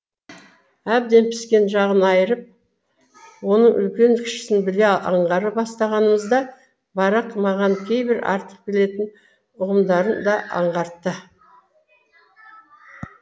әбден піскен жағын айырып оның үлкен кішісін біле аңғара бастағанымызда барак маған кейбір артық білетін ұғымдарын да аңғартты